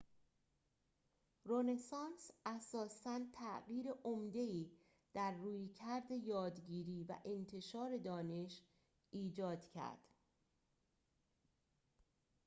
رونسانس اساساً تغییر عمده‌ای در رویکرد یادگیری و انتشار دانش ایجاد کرد